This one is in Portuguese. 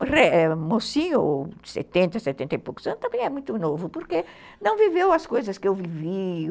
O mocinho, de setenta, setenta e poucos anos, também é muito novo, porque não viveu as coisas que eu vivi...